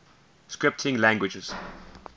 scripting languages